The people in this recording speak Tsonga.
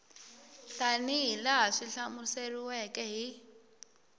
tanihi laha swi hlamuseriweke hi